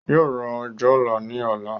Yóò ra òjòlá ní ọ̀la